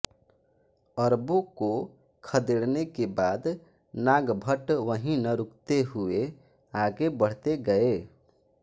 अरबों को खदेड़ने के बाद नागभट्ट वहीं न रुकते हुए आगे बढ़ते गये